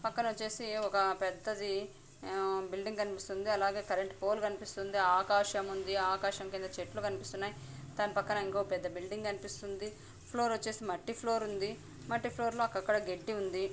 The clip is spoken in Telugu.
పక్కన వచ్చేసి ఒక పెద్దది బిల్డింగ్ కనిపిస్తుంది. అలాగే కరెంట్ పోల్ కనిపిస్తుంది. ఆకాశం ఉంది. ఆకాశం కింద చెట్లు కనిపిస్తున్నాయి. ధాని పక్కన ఇంకో పెద్ద బిల్డింగ్ కనిపిస్తుంది. ఫ్లోర్ వచ్చేసి మట్టి ఫ్లోర్ ఉంది. మట్టి ఫ్లోర్ లో అక్కడక్కడ గడ్డి ఉంది.